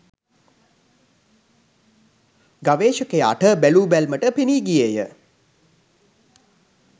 ගවේෂකයාට බැලූ බැල්මටම පෙනී ගියේය